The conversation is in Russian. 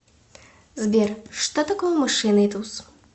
сбер что такое мышиный туз